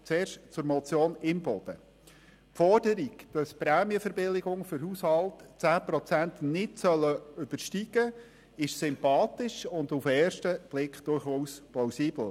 Zuerst zur Motion Imboden: Die Forderung, dass die Prämien für Haushalte 10 Prozent nicht übersteigen sollen, ist sympathisch und auf den ersten Blick durchaus plausibel.